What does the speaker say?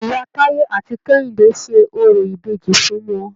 Ìyá Táyé àti Kẹ́hìndé ṣe orò ìbejì fún wọn.